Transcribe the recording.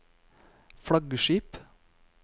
flaggskip